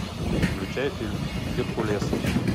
включай фильм геркулес